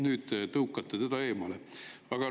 Nüüd te tõukate eemale.